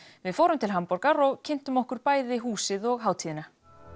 við fórum til Hamborgar og kynntum okkur bæði bæði húsið og hátíðina